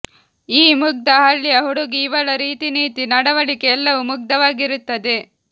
ಈ ಮುಗ್ಧ ಹಳ್ಳಿಯ ಹುಡಗಿ ಇವಳ ರೀತಿ ನೀತಿ ನಡುವಳಿಕೆ ಎಲ್ಲವೋ ಮುಗ್ಧವಾಗಿರುತ್ತದೆ